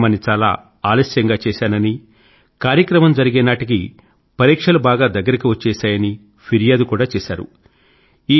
కార్యక్రమాన్ని చాలా ఆలస్యం గా చేశానని కార్యక్రమం జరిగే నాటికి పరీక్షలు బాగా దగ్గరకు వచ్చేశాయని ఫిర్యాదు కూడా చేశారు